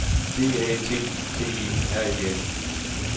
D A T T E R E N